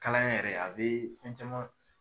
Kalaya yɛrɛ a be fɛn caman